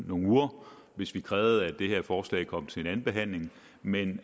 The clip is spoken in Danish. nogle uger hvis vi krævede at det her forslag kom til anden behandling men